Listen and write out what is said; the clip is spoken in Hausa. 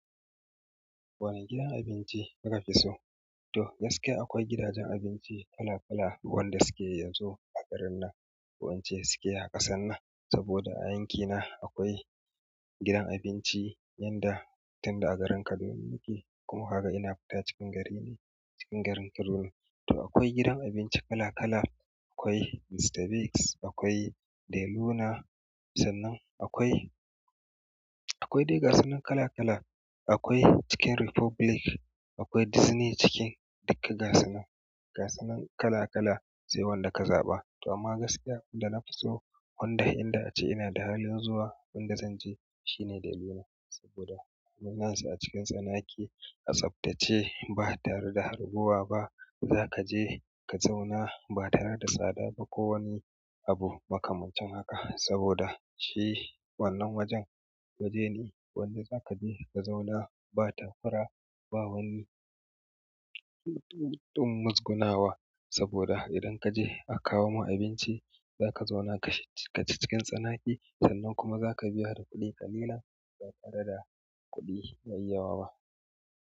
Wane gidan abinci kuka fi so? To gaskiya akwai gidajen abinci kala kala, wanda suke yanzu a garin nan, ko ince suke a ƙasan nan. Saboda a yanki ka na akwai gidan abinci yanda tin da a garin kaduna nike kuma kaga ina fita cikin gari ne cikin garin kaduna, to akwai gidan abinci kala kala, akwai Mr. Biggs, akwai De Luna, sannan akwai, akwai dai ga sunan kala kala, akwai Chicken Republic, akwai Dizney Chicken, duka gasunan, gasunan kala kala, sai wanda ka zaɓa, to amma gaskiya inda na fi so, wanda inda ace ina da halin zuwa, inda zan je, shine De Luna. Saboda munansa a cikin tsanake, a tsaftace ba tare da harbuwa ba. Zaka je ka zauna ba tare da tsada ba ko wani abu makamancin haka, saboda shi wannan wajen, waje ne wanda za ka je ka zauna ba takura, ba wani ɗin muzgunawa, saboda idan kaje a kawo ma abinci, za ka zauna kaci cikin tsanake, sannan kuma za ka biya kuɗi ƙalilan, ba tare da kuɗi mai yawa ba.